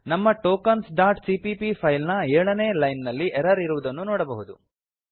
ನಮ್ಮ tokensಸಿಪಿಪಿ ಫೈಲ್ ನ ಎಳನೇ ಲೈನ್ ನಲ್ಲಿ ಎರರ್ ಇರುವುದನ್ನು ನೋಡಬಹುದು